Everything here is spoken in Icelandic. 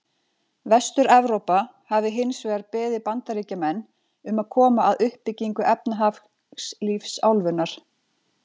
Vestur-Evrópa hafi hins vegar beðið Bandaríkjamenn um að koma að uppbyggingu efnahagslífs álfunnar.